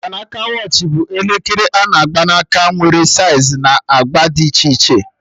Mgbanaka watch bụ elekere a na-agba n'aka, nwere saiz na agba dị iche iche